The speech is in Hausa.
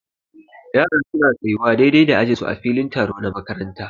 Yara su na tsayuwa daidai da ajin su a filin taro na makaranta.